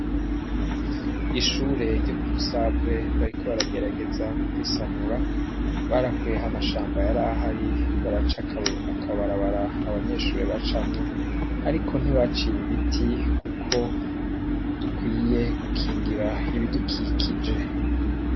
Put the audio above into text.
Ishure ryo kumusave bariko baragerageza kurisanura barakuyeho amashamba yarahari baraca akabarabara abanyeshure bacamwo ariko ntibaciye ibiti kuko dukwiye gukingira ibidukikije.